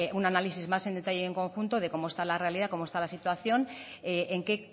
un análisis más en detalle en conjunto de cómo está la realidad de cómo está la situación en qué